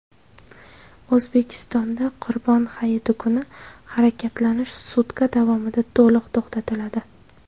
O‘zbekistonda Qurbon hayiti kuni harakatlanish sutka davomida to‘liq to‘xtatiladi.